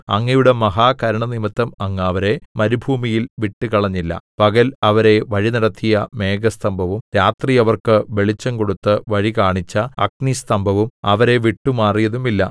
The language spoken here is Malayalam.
അങ്ങയുടെ മഹാകരുണ നിമിത്തം അങ്ങ് അവരെ മരുഭൂമിയിൽ വിട്ടുകളഞ്ഞില്ല പകൽ അവരെ വഴിനടത്തിയ മേഘസ്തംഭവും രാത്രി അവർക്ക് വെളിച്ചം കൊടുത്ത് വഴി കാണിച്ച അഗ്നിസ്തംഭവും അവരെ വിട്ടുമാറിയതുമില്ല